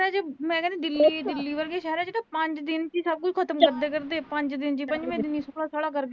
ਮੈਂ ਕਹਿਣੀ ਆਂ ਦਿੱਲੀ ਦਿੱਲੀ ਵਰਗੇ ਸ਼ਹਿਰਾਂ ਚ ਤਾਂ ਪੰਜ ਦਿਨਾ ਚ ਈ ਸਭ ਕੁਝ ਖਤਮ ਕਰਦਿਆ ਕਰਦੇ ਆ, ਪੰਜ ਦਨ ਚ